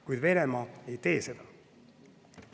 Kuid Venemaa ei tee seda.